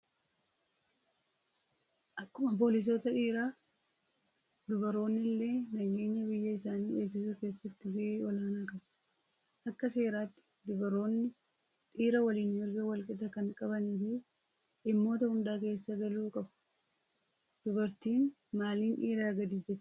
Akkuma poolisoota dhiiraa dubaroonni illee nageenya biyya isaanii eegsisuu keessatti gahee olaanaa qabu. Akka seeraatti dubaroonni dhiira waliin mirga wal qixaa kan qabanii fi dhimmoota hundaa keessa galuu qabu. Dubartiin maaliin dhiiraa gadi jettee yaaddaa?